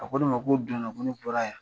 A ko ne ma ko o don na ko ne bɔra yan.